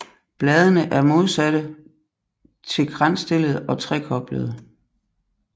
Bladene er modsatte til kransstillede og trekoblede